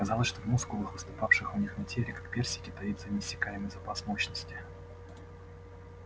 казалось что в мускулах выступавших у них на теле как персики таится неиссякаемый запас мощности